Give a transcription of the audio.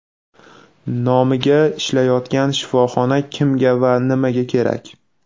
Nomiga ishlayotgan shifoxona kimga va nimaga kerak?.